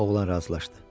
Oğlan razılaşdı.